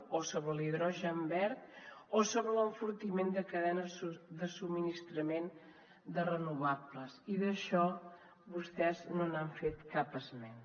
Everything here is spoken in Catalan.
o sobre l’hidrogen verd o sobre l’enfortiment de cadenes de subministrament de renovables i d’això vostès no n’han fet cap esment